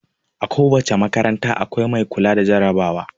A ko wace makaranta, akwai mai kula da jarabawa.